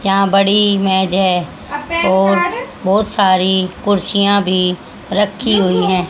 यहां बड़ी मेज है और बहोत सारी कुर्सियां भी रखी हुई--